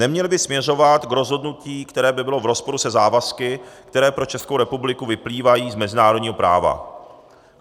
Neměly by směřovat k rozhodnutí, které by bylo v rozporu se závazky, které pro Českou republiku vyplývají z mezinárodního práva.